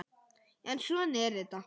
En svona er þetta.